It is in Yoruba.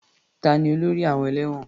Ta ni olórí àwọn ẹlẹ́wọ̀n?